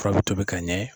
Fura bɛ tobi ka ɲɛ